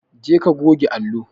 Jeka ka goge allo.